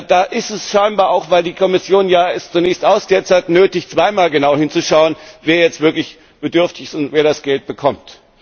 Da ist es scheinbar auch, weil es die Kommission ja zunächst ausgesetzt hat nötig, zweimal genau hinzuschauen, wer jetzt wirklich bedürftig ist und wer das Geld bekommt.